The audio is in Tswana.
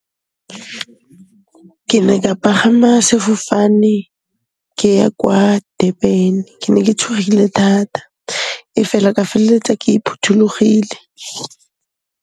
Ke ne ka pagama sefofane ke ya kwa Durban. Ke ne ke tshogile thata efela, ka felletsa ke phuthollogile.